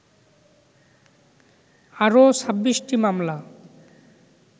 আরও ২৬টি মামলা